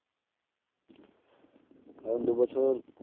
কারণ দু বছর